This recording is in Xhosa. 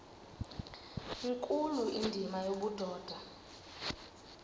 nkulu indima yobudoda